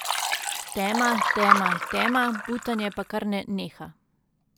Tema, tema, tema, butanje pa kar ne neha.